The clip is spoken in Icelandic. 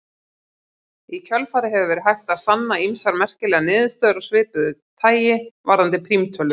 Í kjölfarið hefur verið hægt að sanna ýmsar merkilegar niðurstöður af svipuðu tagi varðandi prímtölur.